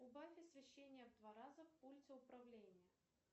убавь освещение в два раза в пульте управления